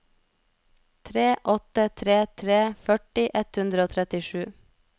tre åtte tre tre førti ett hundre og trettisju